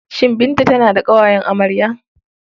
Shin Binta tana da ƙawayen amarya?